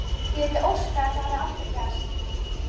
Ég vildi óska að þetta hefði aldrei gerst.